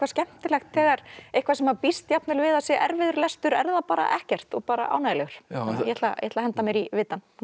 skemmtilegt þegar eitthvað sem maður býst jafnvel við að sé erfiður lestur er það bara ekkert og bara ánægjulegur ég ætla ætla að henda mér í vitann